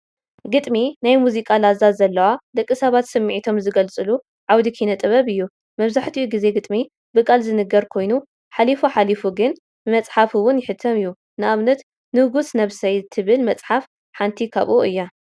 ግጥሚ ናይ ሙዚቃ ላዛ ዘለዋ ደቂ ሰባት ስምዒቶም ዝገልፅሉ ዓውዲ ኪነ ጥበብ እዩ፡፡ መብዛሕትኡ ግዜ ግጥሚ ብቃል ዝንገር ኮይኑ ሓሊፉ ሓሊፉ ግን ብመፅሓፍ እውን ይሕተም እዩ፡፡ ንኣብነት ንጉሥ ነብሰይ ትብል መፅሓፍ ሓንቲ ካብኡ እዯ፡፡